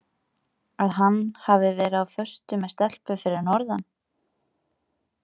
Að hann hafi verið á föstu með stelpu fyrir norðan.